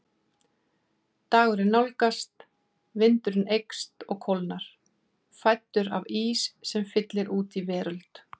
Dagurinn nálgast, vindurinn eykst og kólnar, fæddur af ís sem fyllir út í veröld